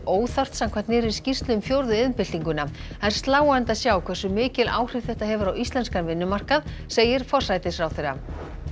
óþarft samkvæmt nýrri skýrslu um fjórðu iðnbyltinguna það er sláandi að sjá hversu mikil áhrif þetta hefur á íslenskan vinnumarkað segir forsætisráðherra